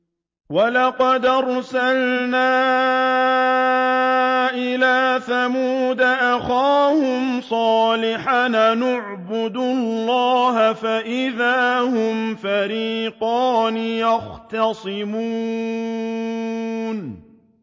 وَلَقَدْ أَرْسَلْنَا إِلَىٰ ثَمُودَ أَخَاهُمْ صَالِحًا أَنِ اعْبُدُوا اللَّهَ فَإِذَا هُمْ فَرِيقَانِ يَخْتَصِمُونَ